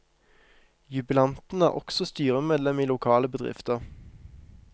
Jubilanten er også styremedlem i lokale bedrifter.